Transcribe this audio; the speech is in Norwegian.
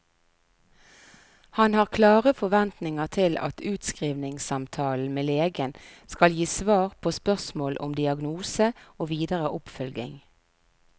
Han har klare forventninger til at utskrivningssamtalen med legen skal gi svar på spørsmål om diagnose og videre oppfølging.